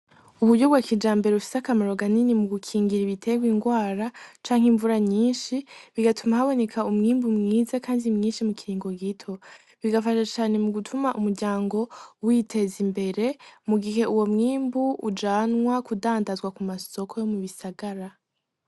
Uburyo bwakija mbere ufise akamaroga nini mu gukingira ibiterwa ingwara canke imvura nyinshi bigatuma haboneka umwimbu mwiza, kandi mwinshi mu kiringo gito bigafasha cane mu gutuma umuryango witeza imbere mugihe uwo mwimbu ujanwa kudandazwa ku masoko yo mu bisagara.